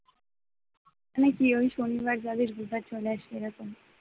তুই কি ওই শনিবার যাবি রবিবার চলে আসবি এরকম?